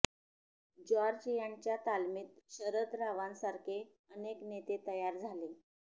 George यांच्या तालमीत शरद रावांसारखे अनेक नेते तयार झाले